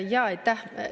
Jaa, aitäh!